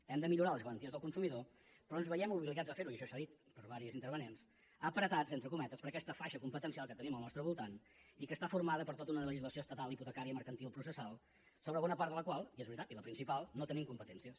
hem de millorar les garanties del consumidor però ens veiem obligats a fer ho i això s’ha dit per diversos intervinents apretats entre cometes per aquesta faixa competencial que tenim al nostre voltant i que està formada per tota una legislació estatal hipotecària mercantil processal sobre bona part de la qual i és veritat i la principal no tenim competències